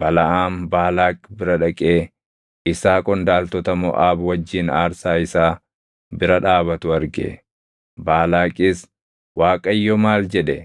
Balaʼaam Baalaaq bira dhaqee isaa qondaaltota Moʼaab wajjin aarsaa isaa bira dhaabatu arge. Baalaaqis, “ Waaqayyo maal jedhe?”